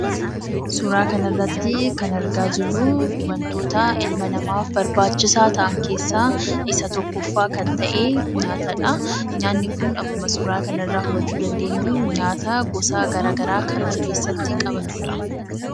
Suuraa kanarratti kan argaa jirruu wantootaa ilma namaaf barbaachisaa ta'an keessaa isa tokkoffaa kan ta'ee nyaatadha. Nyaanni kun akkuma suuraa hubachuu dandeenyuu, nyaataa gosa garagaraa kan of keessatti qabatudha.